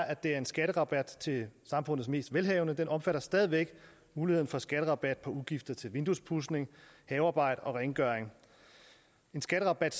at det er en skatterabat til samfundets mest velhavende den omfatter stadig væk muligheden for skatterabat for udgifter til vinduespudsning havearbejde og rengøring en skatterabat